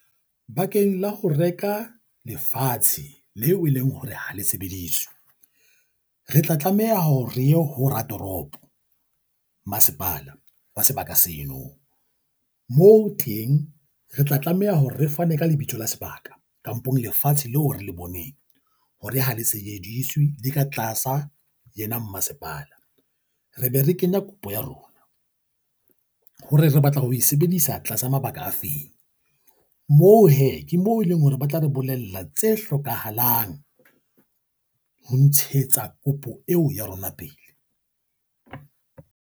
Bakeng la ho reka lefatshe leo e leng hore ha le sebediswe, re tla tlameha hore re ye ho ratoropo, masepala wa sebaka seno moo teng re tla tlameha hore re fane ka lebitso la sebaka kampong lefatshe leo re le boneng hore ha le sejediswe le ka tlasa yena mmasepala, re be re kenya kopo ya rona. Hore re batla ho e sebedisa tlasa mabaka afeng moo hee ke moo eleng hore ba tla re bolella tse hlokahalang ho ntshetsa kopo eo ya rona pele.